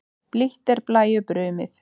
Blítt er blæju brumið.